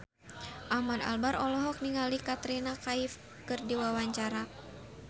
Ahmad Albar olohok ningali Katrina Kaif keur diwawancara